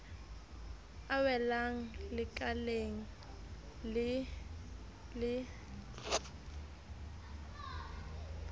a welang lekaleng le le